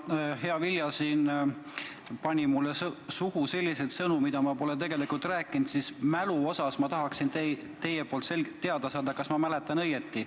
Kuna hea Vilja siin pani mulle suhu selliseid sõnu, mida ma tegelikult rääkinud ei ole, siis ma tahaksin teilt selgelt teada saada, kas ma mäletan õigesti.